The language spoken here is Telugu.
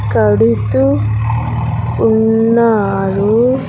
కడుతూ ఉన్నారు.